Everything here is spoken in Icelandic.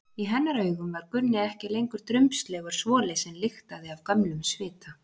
Í hennar augum var Gunni ekki lengur drumbslegur svoli sem lyktaði af gömlum svita.